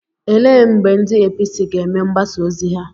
Ele mgbe ndị APC ga-eme mgbasa ozi ha?